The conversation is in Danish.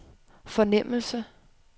fornemmelse